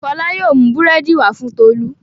Fọlá yóò mú búrẹ́dì wá fún Tolú.